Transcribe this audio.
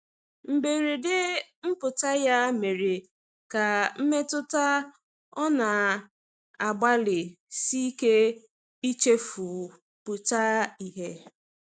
mgberede mputa ya mere ka mmetụta ọ na agbali sike ichefu pụta ihe